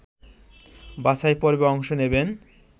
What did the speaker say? বাছাইপর্বে অংশ নেবেন